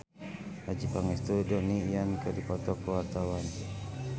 Adjie Pangestu jeung Donnie Yan keur dipoto ku wartawan